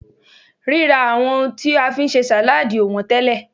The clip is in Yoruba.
rira awon ohun ti a fi n se saladi o won tele